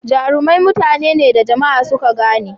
Jarumai mutane ne da jama'a suka gane.